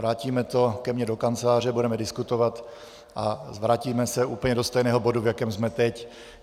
Vrátíme to ke mně do kanceláře, budeme diskutovat a vrátíme se úplně do stejného bodu, v jakém jsme teď.